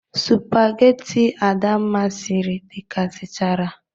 Supageti Adamma siri dekasichara.